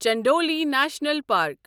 Chandauli national park